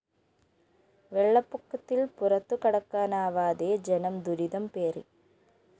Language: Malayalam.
വെള്ളപ്പൊക്കത്തില്‍ പുറത്തു കടക്കാനാവാതെ ജനം ദുരിതംപേറി